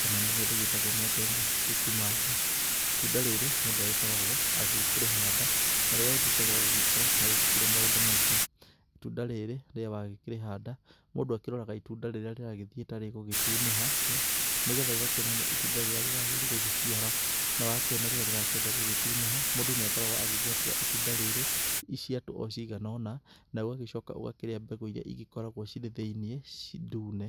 kana nĩrĩo rĩgĩtagwo nĩ andũ amwe kukumanga. Itunda rĩrĩ mũndũ agĩkoragwo agĩkĩrĩhanda narĩo rĩgatuĩka rĩa gũkũra narĩo rĩtikĩrĩ maũndũ maingĩ. Itunda rĩrĩ rĩrĩa wakĩrĩhanda mũndũ akĩrĩroraga itunda rĩragĩthiĩ ta rĩgũtunĩha nĩgetha ũgakĩmenya itunda rĩrĩa rĩrathiĩ gũgĩciara na wakĩona rĩrĩa rĩreenda gũgĩtunĩha mũndũ nĩagĩkoragwo agĩatura itunda rĩrĩ ciatũ cigana ũna na ũgagĩcoka ũkarĩa mbegũ irĩa ikoragwo irĩ thĩiniĩ cie ndune .